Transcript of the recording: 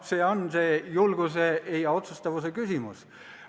See on julguse ja otsustavuse küsimus.